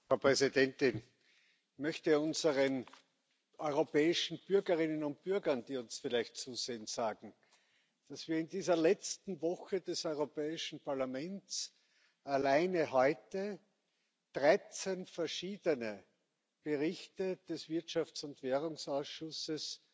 Frau Präsidentin! Ich möchte unseren europäischen Bürgerinnen und Bürgern, die uns vielleicht zusehen, sagen, dass wir in dieser letzten Sitzungswoche des Europäischen Parlaments alleine heute 13 verschiedene Berichte des Wirtschafts und Währungsausschusses